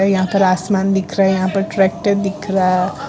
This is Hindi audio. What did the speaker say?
यहां पर आसमान दिख रहा है यहां पर ट्रैक्टर दिख रहा है।